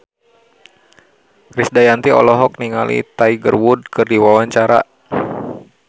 Krisdayanti olohok ningali Tiger Wood keur diwawancara